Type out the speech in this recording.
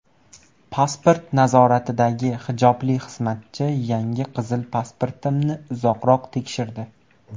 Pasport nazoratidagi hijobli xizmatchi yangi qizil pasportimni uzoqroq tekshirdi.